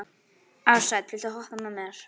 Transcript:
Ársæll, viltu hoppa með mér?